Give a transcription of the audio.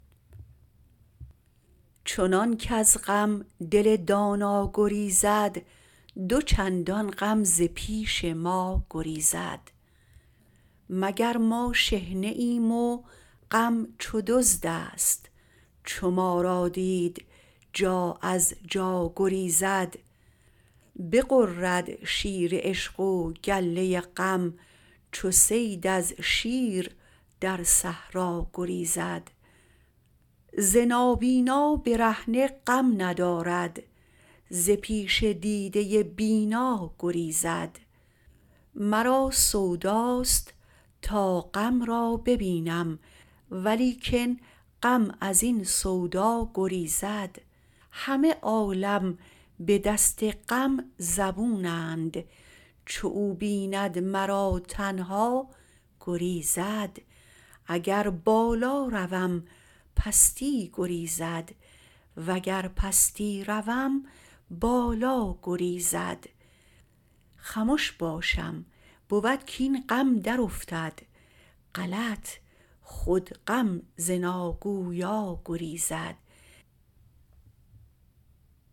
چنان کز غم دل دانا گریزد دو چندان غم ز پیش ما گریزد مگر ما شحنه ایم و غم چو دزدست چو ما را دید جا از جا گریزد بغرد شیر عشق و گله غم چو صید از شیر در صحرا گریزد ز نابینا برهنه غم ندارد ز پیش دیده بینا گریزد مرا سوداست تا غم را ببینم ولیکن غم از این سودا گریزد همه عالم به دست غم زبونند چو او بیند مرا تنها گریزد اگر بالا روم پستی گریزد وگر پستی روم بالا گریزد خمش باشم بود کاین غم درافتد غلط خود غم ز ناگویا گریزد